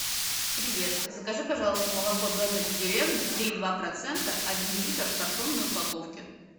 привет закажи пожалуйста молоко домик в деревне три и два процента один литр в картонной упаковке